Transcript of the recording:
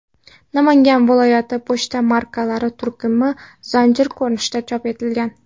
Namangan viloyati” pochta markalari turkumi zanjir ko‘rinishida chop etilgan.